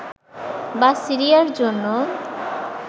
বা সিরিয়ার জন্য